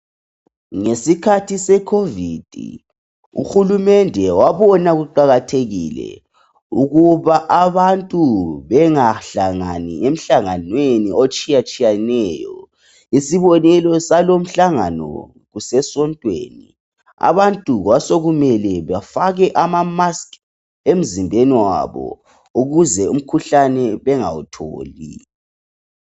Ngesikhathi sekhovid uhulumende wabona ukuba abantu bengahlangani emhlanganweni etshiyatshiyeneyo. Isibonelo salumhlangano kusesontweni. Abantu kwasokumele bafake amamaski emzimbeni wabo ukuze umkhuhlane bengawutholi.